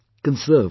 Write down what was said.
Conserve it